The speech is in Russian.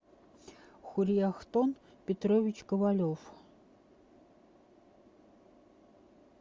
хурьяхтон петрович ковалев